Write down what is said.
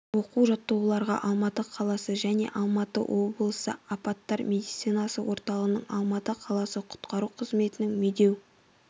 оқу-жаттығуларға алматы қаласы және алматы облысы апаттар медицинасы орталығының алматы қаласы құтқару қызметінің медеу